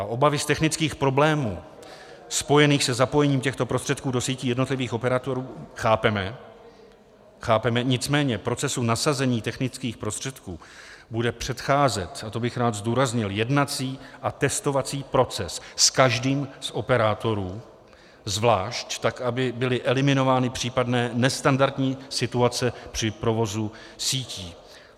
A obavy z technických problémů spojených se zapojením těchto prostředků do sítí jednotlivých operátorů chápeme, nicméně procesu nasazení technických prostředků bude předcházet - a to bych rád zdůraznil - jednací a testovací proces s každým z operátorů zvlášť, tak aby byly eliminovány případné nestandardní situace při provozu sítí.